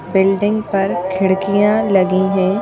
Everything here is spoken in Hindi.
बिल्डिंग पर खिड़कियां लगी हैं।